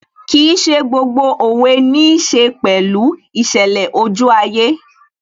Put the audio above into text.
Kìí ṣe gbogbo òwe níí ṣe pẹ̀lú ìṣẹ̀lẹ̀ ojú ayé